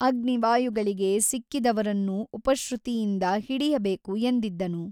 ಅಗ್ನಿ ವಾಯುಗಳಿಗೆ ಸಿಕ್ಕದವರನ್ನು ಉಪಶ್ರುತಿಯಿಂದ ಹಿಡಿಯಬೇಕು ಎಂದಿದ್ದನು.